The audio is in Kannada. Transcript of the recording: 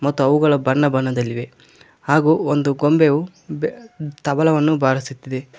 ಮತ್ತು ಅವುಗಳ ಬಣ್ಣದಲ್ಲಿವೆ ಹಾಗು ಒಂದು ಗೊಂಬೆಯು ತಬಲವನ್ನು ಬಾರಿಸುತ್ತಿದೆ.